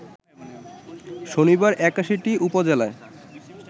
শনিবার ৮১টি উপজেলায়